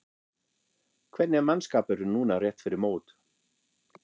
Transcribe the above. Hvernig er mannskapurinn núna rétt fyrir mót?